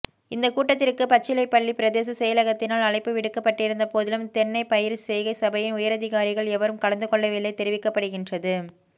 இந்த கூட்டத்திற்கு பச்சிலைப்பள்ளி பிரதேச செயலகத்தினால் அழைப்பு விடுக்கப்பட்டிருந்தபோதிலும் தென்னை பயிர்செய்கை சபையின் உயரதிகாரிகள் எவரும் கலந்துகொள்ளவில்லை தெரிவிக்கபடுகின்றது